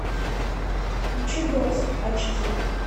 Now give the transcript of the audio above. включи дорс айч ди